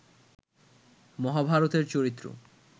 মহাভারতের চরিত্র